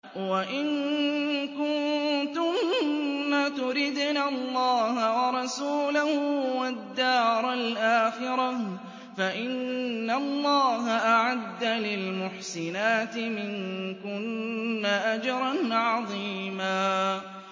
وَإِن كُنتُنَّ تُرِدْنَ اللَّهَ وَرَسُولَهُ وَالدَّارَ الْآخِرَةَ فَإِنَّ اللَّهَ أَعَدَّ لِلْمُحْسِنَاتِ مِنكُنَّ أَجْرًا عَظِيمًا